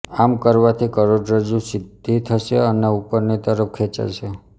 આમ કરવાથી કરોડરજ્જુ સીધી થશે અને ઉપરની તરફ ખેંચાશે